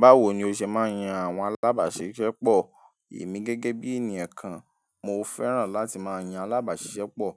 Báwo ni o ṣe máa ń yan àwọn alábàáṣiṣẹ́pọ̀? Èmi gẹ́gẹ́ bí ènìyàn kan, mo fẹ́ràn láti máa yan alábàáṣiṣẹ́pọ̀.